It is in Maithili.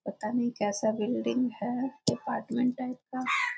पता ना कैसा बिल्डिंग है अपार्टमेंट टाइप का।